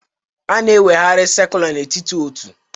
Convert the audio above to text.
A na-eweghari sacula n'etiti otu